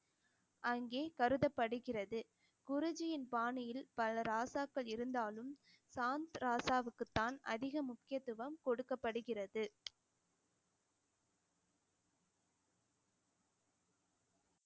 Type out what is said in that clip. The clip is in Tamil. அங்கே கருதப்படுகிறது குருஜியின் பாணியில் பல ராசாக்கள் இருந்தாலும் சாந்த் ராசாவுக்குத்தான் அதிக முக்கியத்துவம் கொடுக்கப்படுகிறது